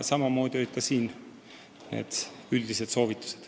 Samamoodi on tehtud mitmesuguseid muid üldisi soovitusi.